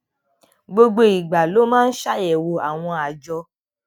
gbogbo ìgbà ló máa ń ṣàyèwò àwọn àjọ